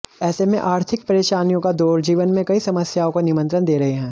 ऐसे में आर्थिक परेशानियों का दौर जीवन में कई समस्याओं को निमंत्रण दे रहे हैं